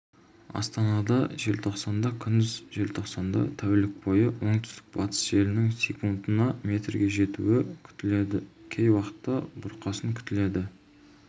астанада желтоқсанда күндіз желтоқсанда тәулік бойы оңтүстік-батыс желінің секундына метрге жетуі күтіледі кей уақытта бұрқасын күтіледі